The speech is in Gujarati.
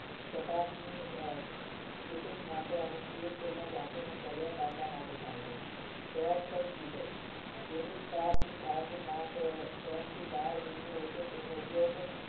steel ધાતુના સળિયા કાપવા માટે થાય છે તેનો ઉપયોગ